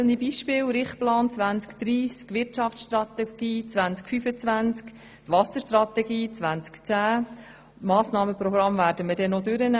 Einige wenige Beispiele: Richtplan 2030, Wirtschaftsstrategie 2015 und Wasserstrategie 2010, deren Massnahmenprogramm wir noch debattieren werden.